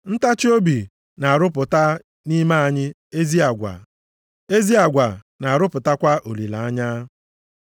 Ntachiobi na-arụpụta nʼime anyị ezi agwa; ezi agwa na-arụpụtakwa olileanya.